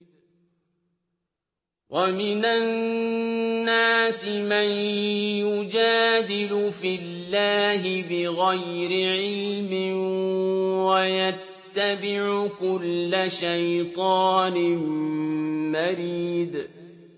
وَمِنَ النَّاسِ مَن يُجَادِلُ فِي اللَّهِ بِغَيْرِ عِلْمٍ وَيَتَّبِعُ كُلَّ شَيْطَانٍ مَّرِيدٍ